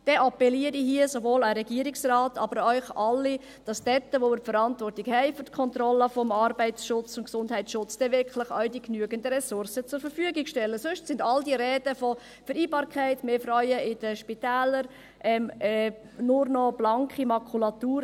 Darum appelliere ich hier sowohl an den Regierungsrat als auch an Sie alle, dass dort, wo wir die Verantwortung für die Kontrolle des Arbeits- und Gesundheitsschutzes wirklich haben, auch wirklich genügend Ressourcen zur Verfügung stehen, sonst sind all die Reden von Vereinbarkeit und mehr Frauen in den Spitälern nur noch blanke Makulatur.